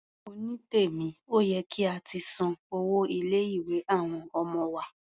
Onítèmí, ó yẹ kí a ti san owó ilé-ìwé àwọn ọmọ wa.